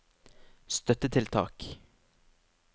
støttetiltak